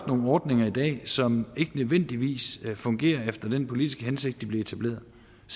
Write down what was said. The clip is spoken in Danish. nogle ordninger i dag som ikke nødvendigvis fungerer efter den politiske hensigt de blev etableret